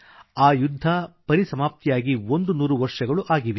ಆ ಯುದ್ಧ ಪರಿಸಮಾಪ್ತಿಯಾಗಿಒಂದು ನೂರು ವರ್ಷಗಳು ಆಗಲಿದೆ